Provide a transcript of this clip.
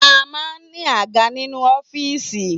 A maa n ní àga nínú ọ́fìsì